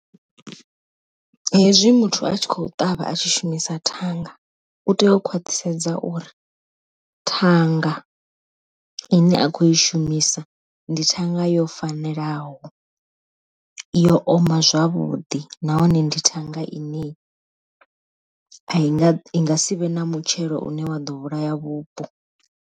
Hezwi muthu a tshi khou ṱavha a tshi shumisa thanga u tea u khwaṱhisedza uri, thanga ine a khou i shumisa ndi thanga a yo fanelaho, yo oma zwavhuḓi nahone ndi thanga ine a i inga si vhe na mutshelo une wa ḓo vhulaya vhupo.